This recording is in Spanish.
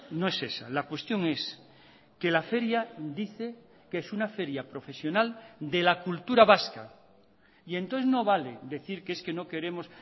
no es esa la cuestión es que la feria dice que es una feria profesional de la cultura vasca y entonces no vale decir que es que no queremos